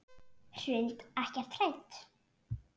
Hrund: Ekkert hrædd?